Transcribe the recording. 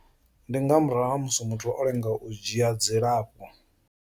Ndi nga murahu ha musi muthu o lenga u dzhia dzilafho.